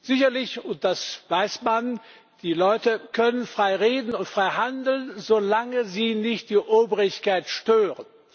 Sicherlich, und das weiß man Die Leute können frei reden und frei handeln, solange sie nicht die Obrigkeit stören.